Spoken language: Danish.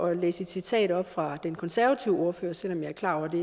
at læse et citat op fra den konservative ordfører selv om jeg er klar over at det